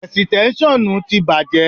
Ẹ̀sìtẹ́ṣọ́nù ti bàjẹ́.